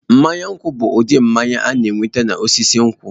Mmanya nkwu bụ ụdị mmanya a na-enweta n'osisi nkwụ.